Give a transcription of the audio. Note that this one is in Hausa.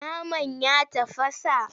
Naman ya tafasa?